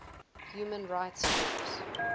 human rights groups